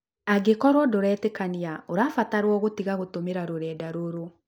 Angĩkorũo ndũretĩkania, ũrabatarwo gũtiga gũtũmĩra rũrenda rũrũ